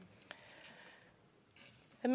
at